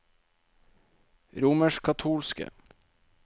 romerskkatolske